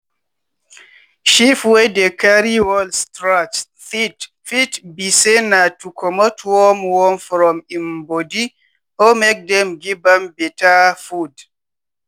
sheep wey dey carry wall scratch teeth fit be say na to comot worm worm from im body or make dem give am beta food.